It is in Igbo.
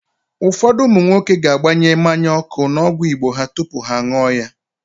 Ụfọdụ ụmụ nwoke ga-agbanye mmanya ọkụ n'ọgwụ Igbo ha tupu ha an̄ụọ ya.